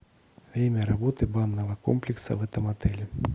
время работы банного комплекса в этом отеле